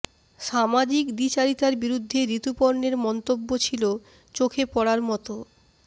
সামাজিক দ্বিচারিতার বিরুদ্ধে ঋতুপর্ণের মন্তব্য ছিল চোখে পড়ার মতো